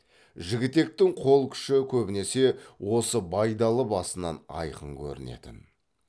жігітектің қол күші көбінесе осы байдалы басынан айқын көрінетін